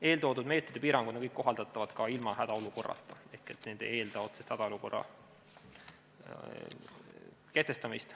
Eeltoodud meetmed ja piirangud on kõik kohaldatavad ka ilma hädaolukorrata ehk need ei eelda otseselt hädaolukorra kehtestamist.